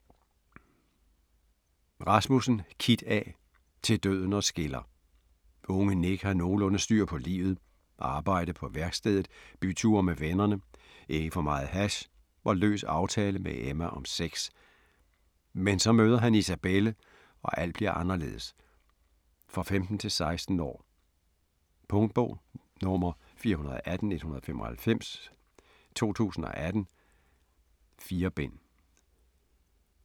Rasmussen, Kit A.: Til døden os skiller Unge Nick har nogenlunde styr på livet. Arbejde på værkstedet, byture med vennerne, ikke for meget hash og løs aftale med Emma om sex. Men så møder han Isabelle og alt bliver anderledes. For 15-16 år. Punktbog 418195 2018. 4 bind.